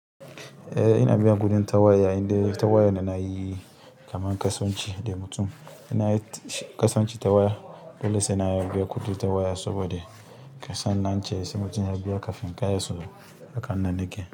Eh ina biyan kuɗin ta waya, indai ta waya ne na yi kaman kasuwanci da mutum. Na kasance ta waya dole sena biya kuɗi ta waya saboda kasan da ance sai mutum ya biya kafin.